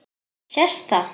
Sést það?